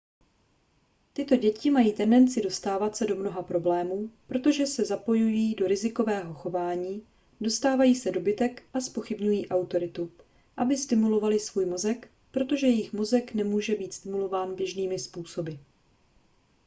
tyto děti mají tendenci dostávat se do mnoha problémů protože se zapojují do rizikového chování dostávají se do bitek a zpochybňují autoritu aby stimulovaly svůj mozek protože jejich mozek nemůže být stimulován běžnými způsoby